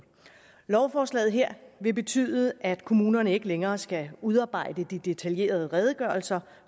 lovforslaget her vil betyde at kommunerne ikke længere skal udarbejde de detaljerede redegørelser